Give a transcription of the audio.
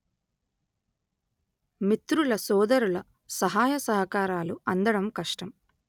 మిత్రుల సోదరుల సహాయ సహకారాలు అందడం కష్టం